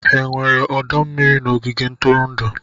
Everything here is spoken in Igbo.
Ha nwere ọdọ mmiri n'ogige ntụrụndụ?